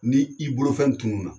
Ni i bolofɛn tunun na